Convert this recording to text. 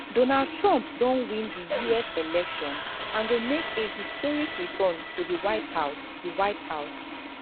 donald trump don win di us election and go make a historic return to di white di white house